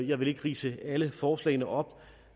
jeg vil ikke ridse alle forslagene op